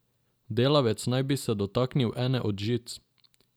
Delavec naj bi se dotaknil ene od žic.